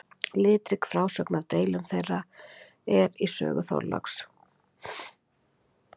litrík frásögn af deilum þeirra er í sögu þorláks